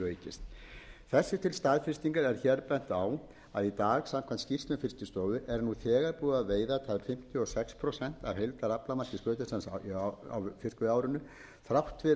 aukist þessu til staðfestingar er hér bent á að í dag samkvæmt skýrslum fiskistofu er nú þegar búið að veiða tæp fimmtíu og sex prósent af heildaraflamarki skötusels á fiskveiðiárinu þrátt